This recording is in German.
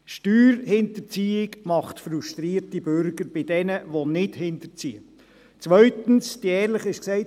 Steuerhinterziehung macht aus jenen, die nicht hinterziehen, zu frustrierten Bürgern.